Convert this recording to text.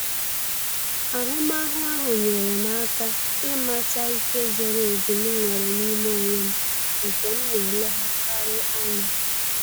Ahụmahụ ahụ nyere m aka ịmata ike zoro ezu m nwere n'ime onwe m nke m na eleghakari anya